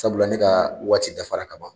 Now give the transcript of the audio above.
Sabula ne ka waati dafara kaban